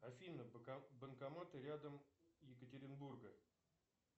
афина банкоматы рядом екатеринбурга